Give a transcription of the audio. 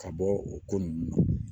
Ka bɔ o ko nunnu na